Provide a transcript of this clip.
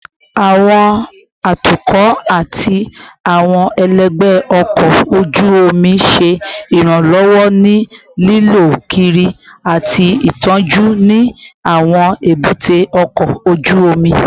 Awọn atukọ ati awọn ẹlẹgbẹ ọkọ oju omi ṣe iranlọwọ ni lilọ kiri ati itọju ni awọn ebute oko oju omi